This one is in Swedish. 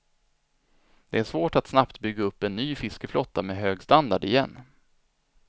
Det är svårt att snabbt bygga upp en ny fiskeflotta med hög standard igen.